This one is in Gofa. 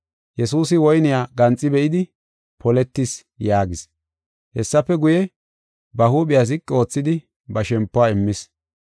Yesuusi woyniya ganxi be7idi, “Poletis” yaagis. Hessafe guye, ba huuphiya ziqi oothidi ba shempuwa immis.